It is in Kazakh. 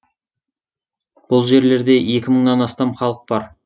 бұл жерлерде екі мыңнан астам халық бар